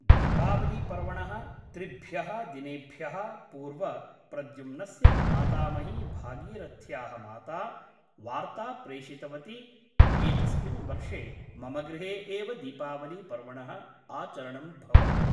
दीपावलीपर्वणः त्रिभ्यः दिनेभ्यः पूर्व प्रद्युम्नस्य मातामही भागीरथ्याः माता वार्ता प्रेषितवती एतस्मिन् वर्षे मम गृहे एव दीपावलीपर्वणः आचरणं भवतु ।